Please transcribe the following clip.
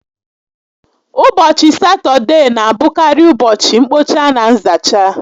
Ụbọchị Satọdee na abụkarị ụbọchị mkpocha na nzacha